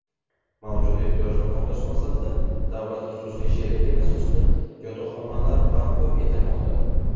Mavjud ehtiyojni qondirish maqsadida davlat xususiy sheriklik asosida yotoqxonalar barpo etilmoqda.